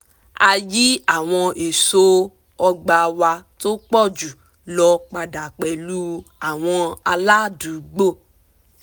a yí àwọn eso ọgbà wa tó pọ̀ jù lọ padà pẹlu àwọn aládùúgbò